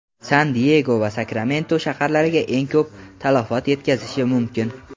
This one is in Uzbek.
San-Diyego va Sakramento shaharlariga eng ko‘p talafot yetkazishi mumkin.